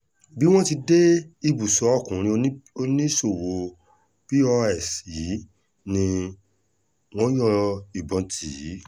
bí wọ́n ṣe dé ibùsọ̀ ọkùnrin oníṣòwò pọ́s yìí ni wọ́n yọ ìbọn tì í